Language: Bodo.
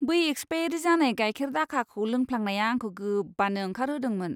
बै एक्सपायेरि जानाय गाइखेर दाखाखौ लोंफ्लांनाया आंखौ गोबानो ओंखारहोदोंमोन।